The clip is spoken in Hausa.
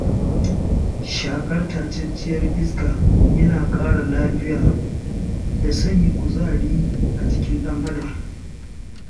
Shaƙar tatacciyar iska yana ƙara lafiya da sanya kuzari a jikin ɗan adam.